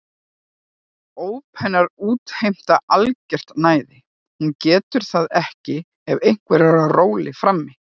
Óp hennar útheimta algert næði, hún getur það ekki ef einhver er á róli frammi.